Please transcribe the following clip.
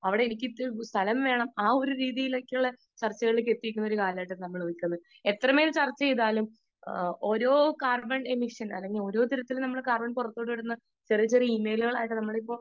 Speaker 2 അവിടെ എനിക്കിത്തിരി സ്ഥലം വേണം ആ ഒരു രീതിയിലേക്കുള്ള ചർച്ചകളിൽ എത്തി നിൽക്കുന്ന കാലമാണ് . എത്ര മേൽ ചർച്ച ചെയ്താലും